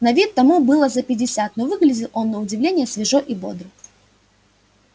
на вид тому было за пятьдесят но выглядел он на удивление свежо и бодро